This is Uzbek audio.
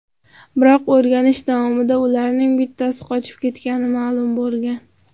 Biroq o‘rganish davomida ularning bittasi qochib ketgani ma’lum bo‘lgan.